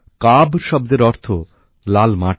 কাব শব্দের অর্থ লাল মাটি